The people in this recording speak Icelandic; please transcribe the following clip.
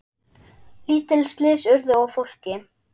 Lítil slys urðu á fólki.